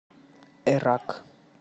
эрак